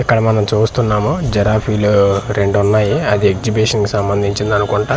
ఇక్కడ మనం చూస్తున్నాము జీరఫీలు రెండు ఉన్నాయి అది అజిబిషన్ సంబందించింది అనుకుంటా.